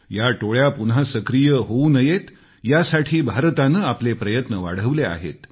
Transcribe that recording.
या टोळ्या पुन्हा सक्रिय होऊ नयेत यासाठी भारताने आपले प्रयत्न वाढवले आहेत